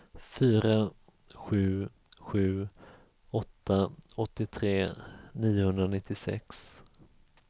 fyra sju sju åtta åttiotre niohundranittiosex